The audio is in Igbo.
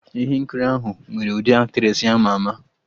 Ihe nkiri ahụ nwere ndị Aktressị ama ama